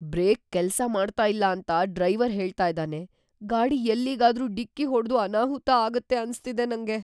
Break ಕೆಲ್ಸ ಮಾಡ್ತಾ ಇಲ್ಲ ಅಂತ ಡ್ರೈವರ್ ಹೇಳ್ತಾ ಇದಾನೆ. ಗಾಡಿ ಎಲ್ಲಿಗಾದ್ರೂ ಡಿಕ್ಕಿ ಹೊಡ್ದು ಅನಾಹುತ ಆಗತ್ತೆ ಅನ್ಸ್ತಿದೆ ನಂಗೆ.